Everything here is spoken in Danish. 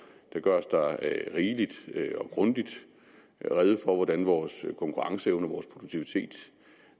der gøres der rigeligt og grundigt rede for hvordan vores konkurrenceevne og vores produktivitet